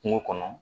Kungo kɔnɔ